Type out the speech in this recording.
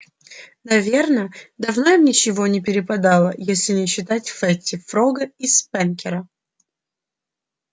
наверно давно им ничего не перепадало если не считать фэтти фрога и спэнкера